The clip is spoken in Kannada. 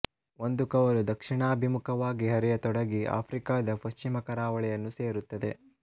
ಒಂದು ಕವಲು ದಕ್ಷಿಣಾಭಿಮುಖವಾಗಿ ಹರಿಯತೊಡಗಿ ಆಫ್ರಿಕದ ಪಶ್ಚಿಮ ಕರಾವಳಿಯನ್ನು ಸೇರುತ್ತದೆ